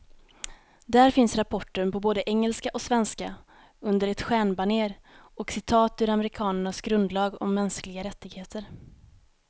Där finns rapporten på både engelska och svenska, under ett stjärnbanér och citat ur amerikanernas grundlag om mänskliga rättigheter.